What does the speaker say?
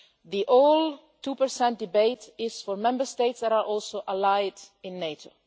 The whole two-percent debate is for Member States that are also allied in NATO.